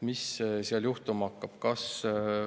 Mis seal juhtuma hakkab?